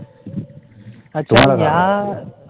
अच्छा ह्या